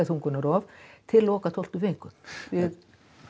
þungunarrof til loka tólftu viku við